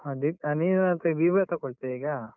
ಹಾ, ನೀನ್ ಎಂತ Vivo ತಗೋಳ್ತೀಯಾ ಈಗ?